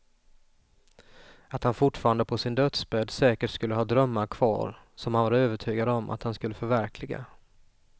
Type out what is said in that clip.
Att han fortfarande på sin dödsbädd säkert skulle ha drömmar kvar som han var övertygad om att han skulle förverkliga.